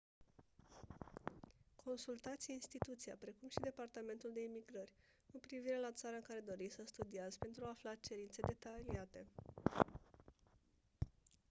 consultați instituția precum și departamentul de imigrări cu privire la țara în care doriți să studiați pentru a afla cerințe detaliate